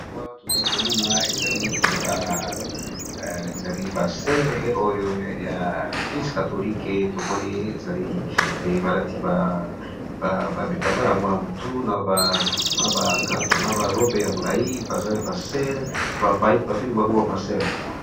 Wana tozali ko mona ezali ba soeurs oyo ya Eglise catholique, to moni ezali ba lati ba bitambala wana na mutu na ba robe ya molayi baza ba soeurs, ba bengi bango ba ma soeur .